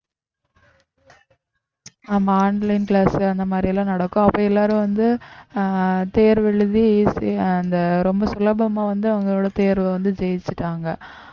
ஆமா online class அந்த மாதிரி எல்லாம் நடக்கும் அப்ப எல்லாரும் வந்து அஹ் தேர்வு எழுதி easy அந்த ரொம்ப சுலபமா வந்து அவங்களோட தேர்வு வந்து ஜெயிச்சுட்டாங்க